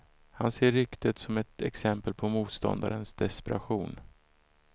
Han ser ryktet som ett exempel på motståndarnas desperation.